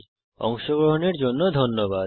এতে অংশগ্রহনের জন্য ধন্যবাদ